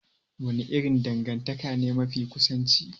Wani irin dangantaka ne mafi kusanci?